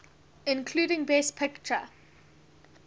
including best picture